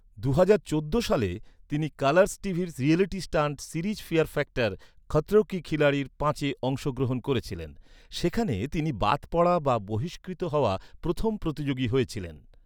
দুহাজার চোদ্দ সালে, তিনি কালারস টিভির reality stunt series fear factor, Khatron ke Khiladi পাঁচে অংশগ্রহণ করেছিলেন। সেখানে তিনি বাদ পড়া বা বহিষ্কৃত হওয়া প্রথম প্রতিযোগী হয়েছিলেন।